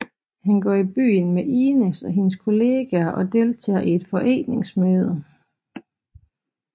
Han går i byen med Ines og hendes kolleger og deltager i et forretningsmøde